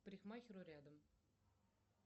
к парикмахеру рядом